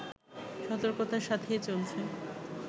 সতর্কতার সাথেই চলছে